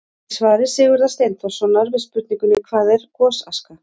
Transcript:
Í svari Sigurðar Steinþórssonar við spurningunni: Hvað er gosaska?